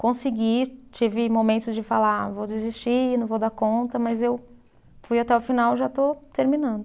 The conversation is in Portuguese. Consegui, tive momentos de falar, vou desistir, não vou dar conta, mas eu fui até o final e já estou terminando.